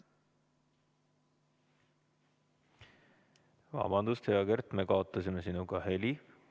Vabandust, Kert, me kaotasime sinuga heliühenduse.